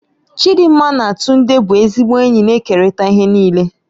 Chidinma na Tunde bụ ezigbo enyi na-ekerịta ihe niile.